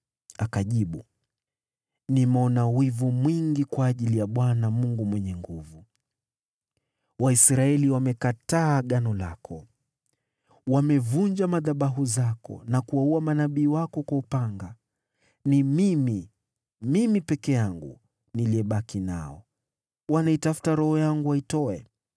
Akajibu, “Nimeona wivu mwingi kwa ajili ya Bwana Mungu Mwenye Nguvu Zote. Waisraeli wamelikataa Agano lako, wamevunja madhabahu zako na kuwaua manabii wako kwa upanga. Ni mimi, mimi peke yangu, niliyebaki, nao sasa wananitafuta ili waniangamize.”